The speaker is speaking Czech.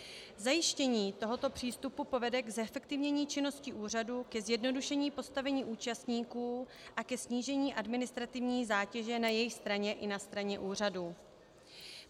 Zajištění tohoto přístupu povede k zefektivnění činnosti úřadu, ke zjednodušení postavení účastníků a ke snížení administrativní zátěže na jejich straně i na straně úřadu.